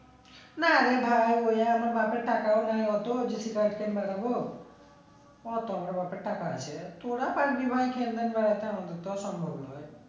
না রে ভাই বাপের টাকাও নেই ওতো ওতো আমার বাপের টাকা আছে তোরা পারবি ভাই সম্ভব নয়